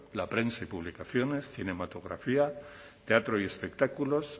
la prensa y publicaciones cinematografía teatro y espectáculos